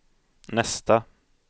nästa